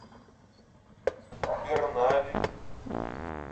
бернаби